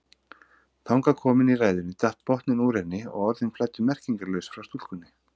Þangað komin í ræðunni datt botninn úr henni og orðin flæddu merkingarlaus frá stúlkunni.